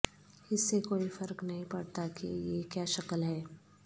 اس سے کوئی فرق نہیں پڑتا کہ یہ کیا شکل ہے